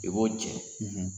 I b'o cɛ.